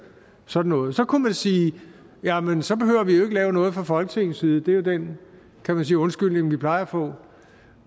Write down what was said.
sådan noget så kunne man sige jamen så behøver vi jo ikke at lave noget fra folketingets side det er jo den kan man sige undskyldning vi plejer at få